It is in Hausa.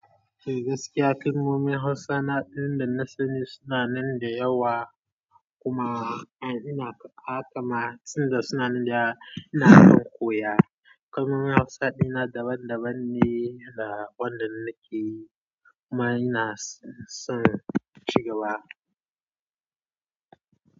Gaskiya, kalmomin Hausa na ɗaya daga cikin suna nan da yawa kuma ina kama tsayin suna da ina son koya. Kalmomin Hausa daban-daban ne da wanda nake kuma ina son ci gaba.